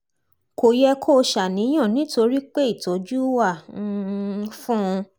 kò yẹ kó o ṣàníyàn nítorí pé ìtọ́jú wà um fún un